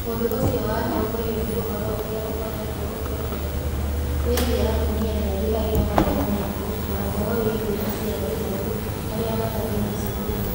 Ũndũ ũcio watongorio nĩ ũhoro ũrĩa ũkoretwo ũkĩongerereka wĩgiĩ atumia ethĩ arĩa marĩ na ũritũ na ũhoro wĩgiĩ aciari ethĩ arĩa matathiĩte cukuru.